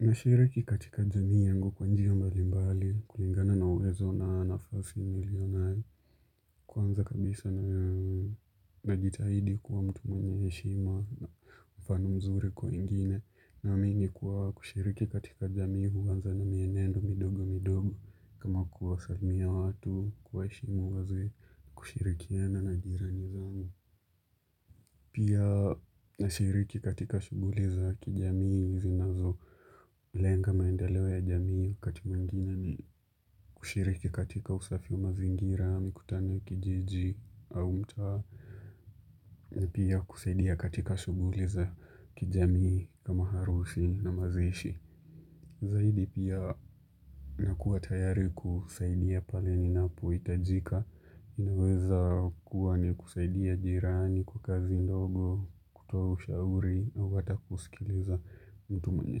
Nashiriki katika jamii yangu kwa njia mbali mbali kulingana na uwezo na nafasi nilionayo Kwanza kabisa najitahidi kuwa mtu mwenye heshima na mfano mzuri kwa wengine Naamini kuwa kushiriki katika jamii huanza na mienendo midogo midogo kama kuwasalimia watu kuwaheshimu wazee kushirikiana na jirani zangu pia nashiriki katika shughuli za kijamii zinazo lenga maendeleo ya jamii kati mwingine ni kushiriki katika usafi wa mazingira, mikutano ya kijiji au mtaa, ni pia kusaidia katika shughuli za kijamii kama harusi na mazishi. Zaidi pia nakuwa tayari kusaidia pale ninapohitajika, inaweza kuwa ni kusaidia jirani kwa kazi ndogo, kutoa ushauri au hata kusikiliza mtu mwenye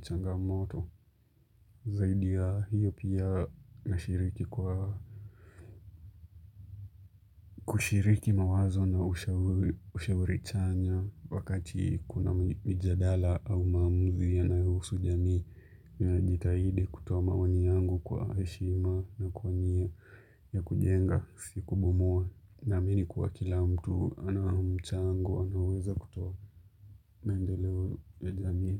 changamoto. Zaidi ya hiyo pia nashiriki kwa kushiriki mawazo na ushauri chanya wakati kuna mijadala au maamuzi yanayohusu jamii. Ninajitahidi kutoa maoani yangu kwa heshima na kwa nia ya kujenga sikubomoa naamini kuwa kila mtu anaomchango anaweza kutoa maendeleo ya jamii.